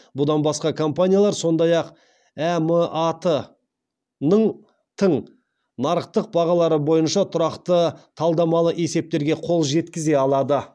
бұдан басқа компаниялар сондай ақ әмат тың нарықтық бағалары бойынша тұрақты талдамалық есептерге қол жеткізе алады